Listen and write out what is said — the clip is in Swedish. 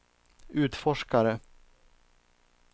utforskare